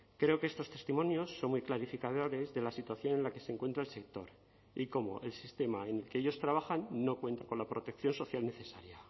creo que estos testimonios son muy clarificadores de la situación en la que se encuentra el sector y como el sistema en que ellos trabajan no cuenta con la protección social necesaria